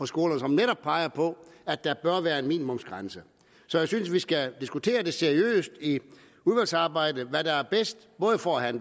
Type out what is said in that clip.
skolerne som netop peger på at der bør være en minimumsgrænse jeg synes at vi skal diskutere seriøst i udvalgsarbejdet hvad der er bedst både for at